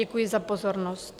Děkuji za pozornost.